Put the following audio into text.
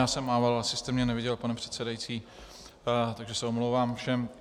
Já jsem mával, asi jste mě neviděl, pane předsedající, takže se omlouvám všem.